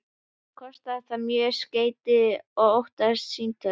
Kostaði það mörg skeyti og ótalin símtöl.